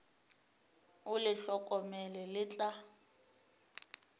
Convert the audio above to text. o le hlokomele le tla